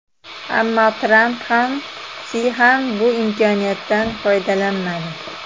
Ammo Tramp ham, Si ham bu imkoniyatdan foydalanmadi.